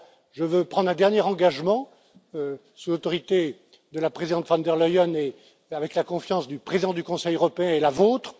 Je veux prendre un dernier engagement sous l'autorité de la présidente von der Leyen et avec la confiance du président du Conseil européen, et la vôtre.